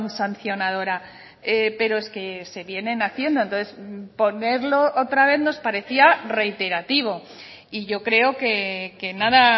sancionadora pero es que se vienen haciendo entonces ponerlo otra vez nos parecía reiterativo y yo creo que nada